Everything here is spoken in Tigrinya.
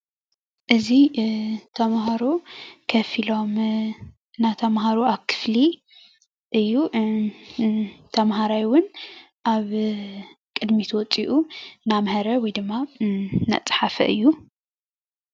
እዚ ተማሃሮ ኮፍ ኢሎም እናተምሃሮ ኣብ ክፍሊ እዩ። እዚ ተማሃራይ እውን ኣብ ቅድሚት ወፂኡ እንዳምሀረ ወይ ድማ እናፀሓፈ እዩ።